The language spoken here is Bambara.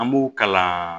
An b'u kalan